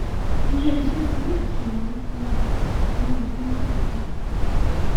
ilé iṣẹ ti rí àṣeyọrí tó lágbára nínú ọdún márùnúndínláàdọta